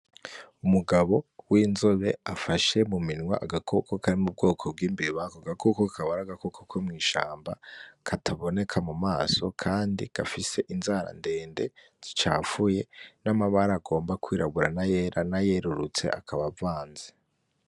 Umugabo w,inzobe afashe muminwe agakoko kari mubwoko bw,Imbeba ako gakoko kaba ari agakoko ko mwishamba kataboneka mumaso kandi gafise inzara ndende zicafuye n,amabara agomba kwirabura nayerurutse akaba avanze .